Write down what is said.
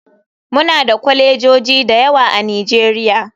Muna da kwalejoji da yawa a nigeria.